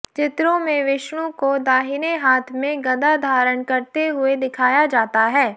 चित्रों में विष्णु को दाहिने हाथ में गदा धारण करते हुए दिखाया जाता है